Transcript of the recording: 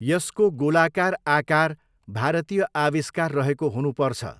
यसको गोलाकार आकार भारतीय आविष्कार रहेको हुनुपर्छ।